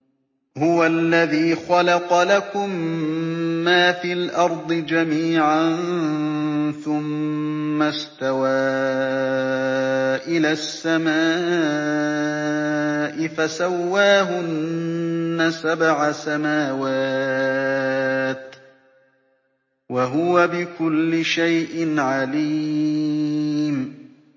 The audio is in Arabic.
هُوَ الَّذِي خَلَقَ لَكُم مَّا فِي الْأَرْضِ جَمِيعًا ثُمَّ اسْتَوَىٰ إِلَى السَّمَاءِ فَسَوَّاهُنَّ سَبْعَ سَمَاوَاتٍ ۚ وَهُوَ بِكُلِّ شَيْءٍ عَلِيمٌ